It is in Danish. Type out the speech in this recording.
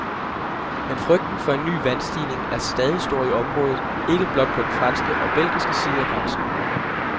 Men frygten for en ny vandstigning er stadig stor i området, ikke blot på den franske og belgiske side af grænsen.